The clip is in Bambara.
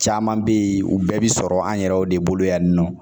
Caman bɛ yen u bɛɛ bɛ sɔrɔ an yɛrɛw de bolo yan nɔ